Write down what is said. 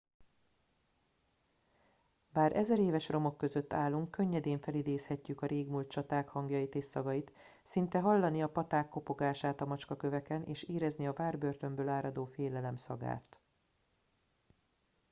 bár ezeréves romok között állunk könnyedén felidézhetjük a régmúlt csaták hangjait és szagait szinte hallani a paták kopogását a macskaköveken és érezni a várbörtönből áradó félelem szagát